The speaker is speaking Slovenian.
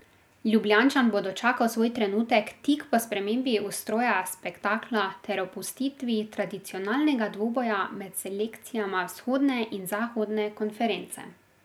Ljubljančan bo dočakal svoj trenutek tik po spremembi ustroja spektakla ter opustitvi tradicionalnega dvoboja med selekcijama vzhodne in zahodne konference.